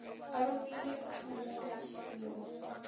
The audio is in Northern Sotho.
a romile thomo go yo